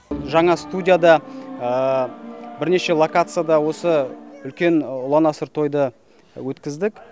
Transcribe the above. жаңа студияда бірнеше локацияда осы үлкен ұлан асыр тойды өткіздік